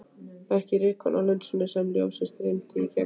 Ekki rykkorn á linsunni sem ljósið streymdi í gegnum.